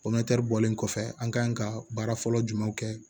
bɔlen kɔfɛ an kan ka baara fɔlɔ jumɛnw kɛ